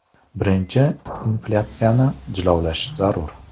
Birinchi inflyatsiyani jilovlash zarur.